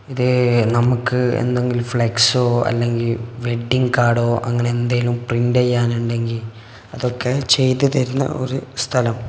ഏ നമുക്ക് എന്തെങ്കിലും ഫ്ലെക്സൊ അല്ലെങ്കിൽ വെഡിങ് കാർഡ് അങ്ങനെ എന്തേലും പ്രിന്റ് ചെയ്യാനുണ്ടെങ്കിൽ അതൊക്കെ ചെയ്തു തരുന്ന ഒരു സ്ഥലം.